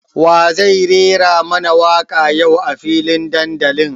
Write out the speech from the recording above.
Wa zai rera mana waka yau a filin dandalin?